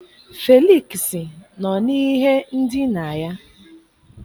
Felịksị nọ n'ihe ndina ya